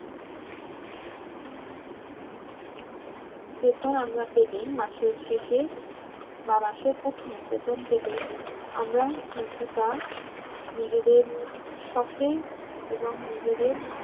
বেতন আমরা পেলেই মাসের শেষে বা মাসের প্রথমে বেতন পেলেই আমরা কিন্তুতা নিজেদের শখে এবং নিজেদের